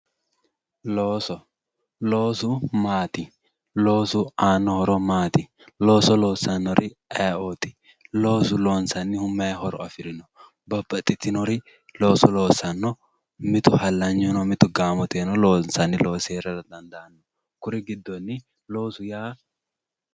Loosu maati loosu aanno horo maati looso loossannori ayee"ooti loosu loonsannihu may horo afirino babbaxxitinori looso loossanno mitu hallanyu no mitu gaamoteyiino loonsanni loosi heerara dandaanno kuri giddonni loosu yaa